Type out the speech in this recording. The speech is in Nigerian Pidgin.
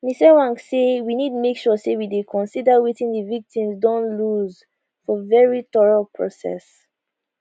ms ewang say we need make sure say we dey consider wetin di victims don lose for very thorough process